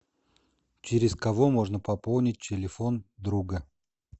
через кого можно пополнить телефон друга